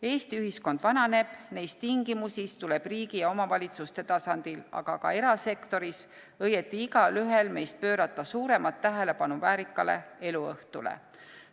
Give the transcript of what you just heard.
Eesti ühiskond vananeb, neis tingimusis tuleb riigi ja omavalitsuste tasandil, aga ka erasektoris, õieti igaühel meist pöörata suuremat tähelepanu väärikale eluõhtule.